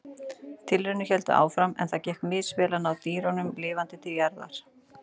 Tilraunir héldu áfram en það gekk misvel að ná dýrunum lifandi til jarðar.